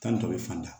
Tan ni tɔ bɛ fanda